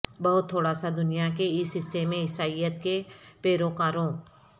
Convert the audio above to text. بہت تھوڑا سا دنیا کے اس حصے میں عیسائیت کے پیروکاروں